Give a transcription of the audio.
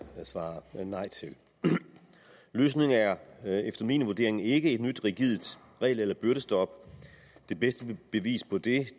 svare nej til løsningen er efter min vurdering ikke et nyt rigidt regel eller byrdestop det bedste bevis på det